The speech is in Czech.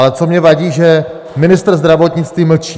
Ale co mně vadí, že ministr zdravotnictví mlčí.